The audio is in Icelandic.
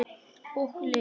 Og Lilja!